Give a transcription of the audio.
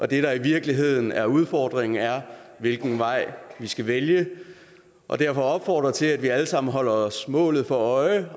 det der i virkeligheden er udfordringen er hvilken vej vi skal vælge og derfor opfordre til at vi alle sammen holder os målet for øje